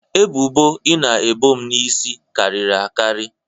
ebubo ị na-ebo m n'isi karịrị akarị